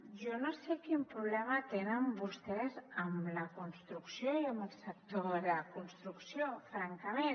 jo no sé quin problema tenen vostès amb la construcció i amb el sector de la construcció francament